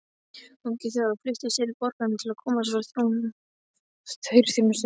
Ungir Þjóðverjar flykktust til borgarinnar til að komast hjá herþjónustu.